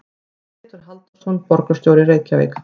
Pétur Halldórsson, borgarstjóri í Reykjavík.